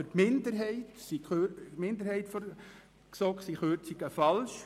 Für die GSoK-Minderheit sind Kürzungen falsch.